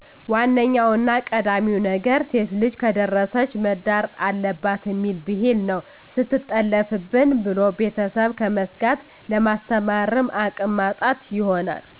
ዋነኛውና ቀዳሚው ነገር ሴትልጅ ከደረሰች መዳር አለባትእሚል ቢህል ነው ሰትጠለፋብን ብሎ ቤተስብ ከመስጋት ለማስተማርም አቅም ማጣት ይሆናል